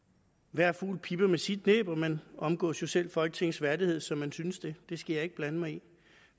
hver fugl pipper med sit næb og man omgås jo selv folketingets værdighed som man synes det skal jeg ikke blande mig i